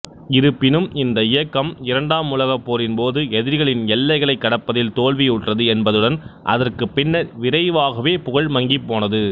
இருப்பினும் இந்த இயக்கம் இரண்டாம் உலகப்போரின்போது எதிரிகளின் எல்லைகளைக் கடப்பதில் தோல்வியுற்றது என்பதுடன் அதற்குப் பின்னர் விரைவாகவே புகழ் மங்கிப்போனது